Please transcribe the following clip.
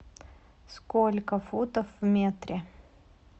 сколько футов в метре